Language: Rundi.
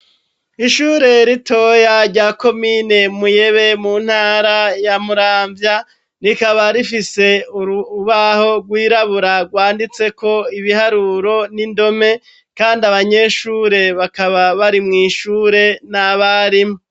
Ishure ritoya rya komine Muyebe, mu ntara ya Muramvya rikaba rifise urubaho rwirabura, rwanditse ko ibiharuro n'indome, kandi abanyeshure bakaba bari mw'ishure n'abarimu.